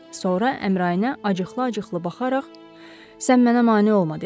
Sonra Əmrainə acıqlı-acıqlı baxaraq sən mənə mane olma dedi.